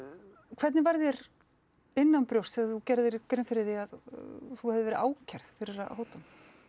hvernig varð þér innanbrjósts þegar þú gerðir þér grein fyrir því að þú hefðir verið ákærð fyrir að hóta